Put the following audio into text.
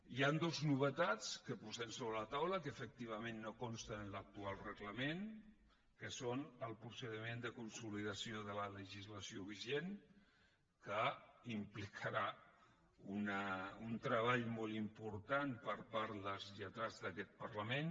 hi ha dues novetats que posem sobre la taula que efectivament no consten en l’actual reglament que són el procediment de consolidació de la legislació vigent que implicarà un treball molt important per part dels lletrats d’aquest parlament